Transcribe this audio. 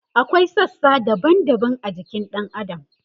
akwai sassa daban daban a jikin ɗan adam